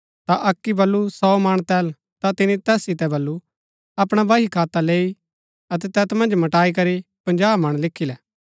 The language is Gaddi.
ता अक्की बल्लू सौ मण तेल ता तिनी तैस सितै बल्लू अपणा बहीखाता लैई अतै तैत मन्ज मटाई करी पजाँह मण लिखी लै